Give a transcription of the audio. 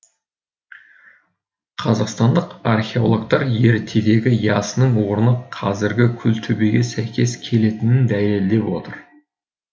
қазақстандық археологтар ертедегі ясының орны қазіргі күлтөбеге сәйкес келетінін дәлелдеп отыр